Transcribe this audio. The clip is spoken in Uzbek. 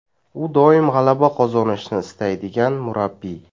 U doim g‘alaba qozonishni istaydigan murabbiy.